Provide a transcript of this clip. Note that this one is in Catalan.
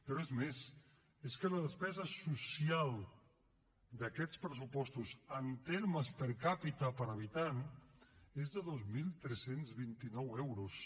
però és més és que la despesa social d’aquests pressupostos en termes per capita per habitant és de dos mil tres cents i vint nou euros